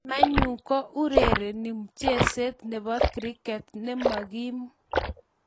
Mamaeyu ko urereni mcheset nebo Kriket, nemagim